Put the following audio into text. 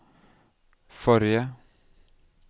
forrige